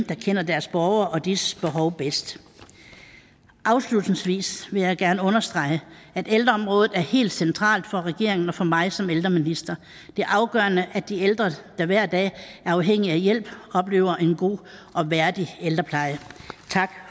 der kender deres borgere og disses behov bedst afslutningsvis vil jeg gerne understrege at ældreområdet er helt centralt for regeringen og for mig som ældreminister det er afgørende at de ældre der hver dag er afhængige af hjælp oplever en god og værdig ældrepleje tak